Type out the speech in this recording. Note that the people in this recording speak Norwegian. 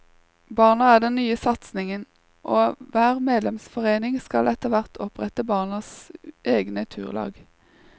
Barna er den nye satsingen, og hver medlemsforening skal etterhvert opprette barnas egne turlag.